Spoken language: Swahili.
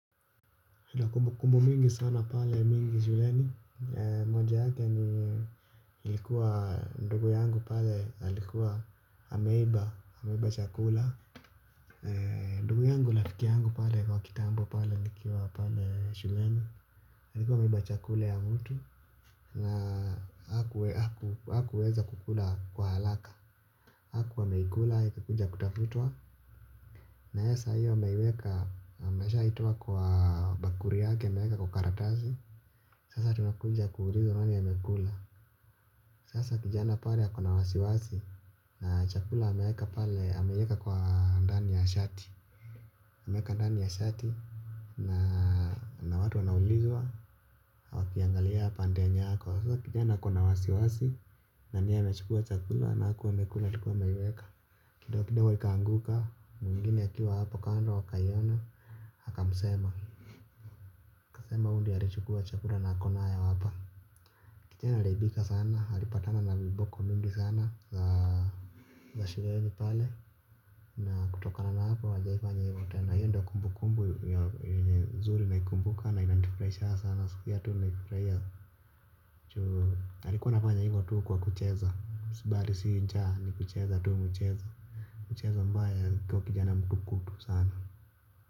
Kumbu mingi sana pale mingi shuleni moja yake ilikuwa ndugu yangu pale alikuwa ameiba ameiba chakula ndugu yangu rafiki yangu pale nikiwa pale shuleni alikuwa ameiba chakula ya mtu na hakuweza kukula kwa halaka. Hakuwa ameikula akikuja kutafutwa na yasa hiyo ameiweka ameshaitoa kwa bakuri yake ameweka kwa karatazi. Sasa tunakuja kuulizwa nani amekula. Sasa kijana pale ako na wasiwasi. Na chakula ameweka pale ameweka kwa ndani ya shati ameweka ndani ya shati na na watu wanaulizwa. Wakiangalia pande yenya ako sasa kijana ako na wasiwasi. Nani ni yeye amechukua chakula na hakuwa amekula alikuwa ameiweka. Kidogo kidogo ikaanguka. Mwingine akiwa hapo kando akaiona akamsema akasema huyu ndio alichukua chakula na ako na hapa. Kijana aliaibika sana alipatana na viboko mingi sana. Na kutokana na hapo hajawaifanya hivo tena hiyo ndio kumbu kumbu. Zuri naikumbuka na inanifuraishanga sana. Sikia tu nimefuraia. Alikuwa anafanya hivo tu kwa kucheza bari si njaaa ni kucheza tu muchezo. Muchezo ambaye alikuwa kijana mtukutu sana.